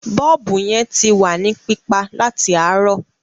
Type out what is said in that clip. Bọ́ọ̀bù yẹn ti wà ní pípa láti àárọ̀.